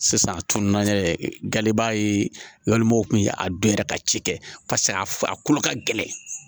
Sisan a tunun na galiba ye walima o kun ye a dɔ yɛrɛ ka cikɛ pase a kolo ka gɛlɛn